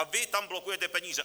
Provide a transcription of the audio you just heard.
A vy tam blokujete peníze.